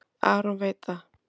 Aron veit það.